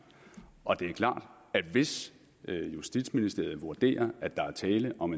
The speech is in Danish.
og det er klart at hvis justitsministeriet vurderer at der er tale om